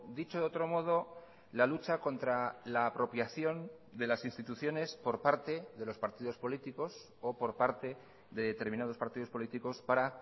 dicho de otro modo la lucha contra la apropiación de las instituciones por parte de los partidos políticos o por parte de determinados partidos políticos para